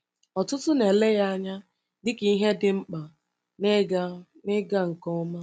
Ọtụtụ na-ele ya anya dịka ihe dị mkpa n’ịga n’ịga nke ọma.